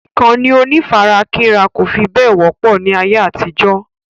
Ìkànnì onífarakínra kò fi bẹ́ẹ̀ wọ́pọ̀ ní ayé àtijó.